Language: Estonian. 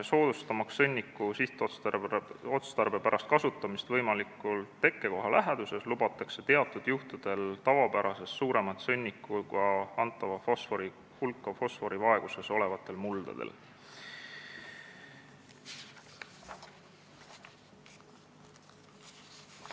Soodustamaks sõnniku sihtotstarbepärast kasutamist võimalikult tekkekoha läheduses lubatakse teatud juhtudel fosforivaeguses olevatele muldadele tavapärasest suuremat sõnnikuga antava fosfori hulka.